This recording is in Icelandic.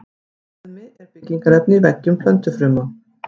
Beðmi er byggingarefni í veggjum plöntufruma.